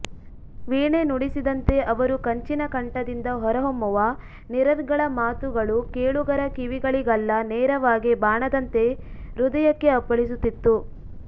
ವೀಣೆ ನುಡಿಸಿದಂತೆ ಅವರು ಕಂಚಿನ ಕಂಠದಿಂದ ಹೊರಹೊಮ್ಮುವ ನಿರರ್ಗಳ ಮಾತುಗಳು ಕೇಳುಗರ ಕಿವಿಗಳಿಗಲ್ಲ ನೇರವಾಗಿ ಬಾಣದಂತೆ ಹೃದಯಕ್ಕೇ ಅಪ್ಪಳಿಸುತ್ತಿತ್ತು